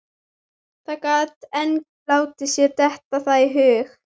Það gat enginn látið sér detta það í hug.